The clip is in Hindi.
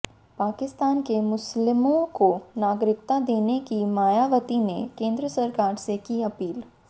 पाकिस्तान के मुस्लिमों को नागरिकता देने की मायावती ने केंद्र सरकार से की अपील